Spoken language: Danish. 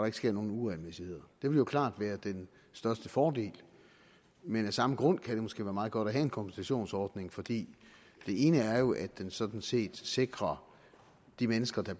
ikke sker nogen uregelmæssigheder det ville jo klart være den største fordel men af samme grund kan det måske være meget godt at have en kompensationsordning for det ene er jo at den sådan set sikrer de mennesker der